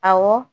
Awɔ